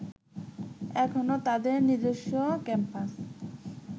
এখনো তাদের নিজস্ব ক্যাম্পাস